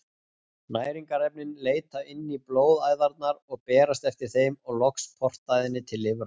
Næringarefnin leita inn í blóðæðarnar og berast eftir þeim og loks portæðinni til lifrar.